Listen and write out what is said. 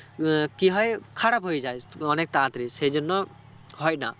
আহ কি হয় খারাপ হয়ে যায় অনেক তাড়াতাড়ি সে জন্য হয়না